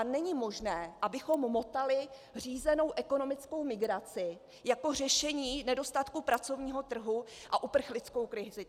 A není možné, abychom motali řízenou ekonomickou migraci jako řešení nedostatku pracovního trhu a uprchlickou krizi.